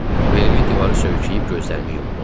Belimi divara söykəyib gözlərimi yumdum.